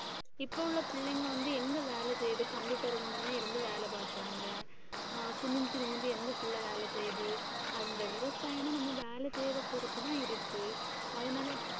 இப்ப உள்ள பிள்ளைங்க வந்து எங்க வேலை செய்யுது? computer க்கு வேலை பாக்கறாங்க. குனிஞ்சி நிமிர்ந்து எந்தப் பிள்ளை வேலை செய்யுது? அந்த விவசாயன்னா நம்ம வேலை செய்யறதை பொறுத்துதான் இருக்கு, அதனால